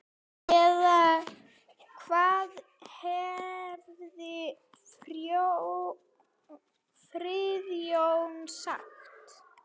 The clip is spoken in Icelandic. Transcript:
Eða hvað hefði Friðjón sagt?